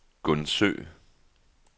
Gundsø